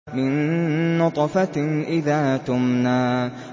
مِن نُّطْفَةٍ إِذَا تُمْنَىٰ